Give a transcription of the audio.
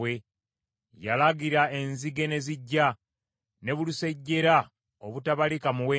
Yalagira, enzige ne zijja ne bulusejjera obutabalika muwendo.